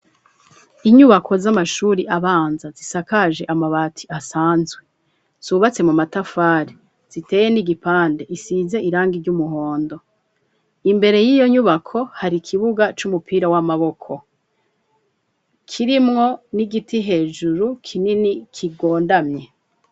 Inyubako z'amashuri abanza zisakaje amabati asanzwe zubatse mu matafari ziteye n'igipande isize irangi ry'umuhondo. Imbere y'iyo nyubako hari kibuga c'umupira w'amaboko kirimwo n'igiti hejuru kinini kigondamye.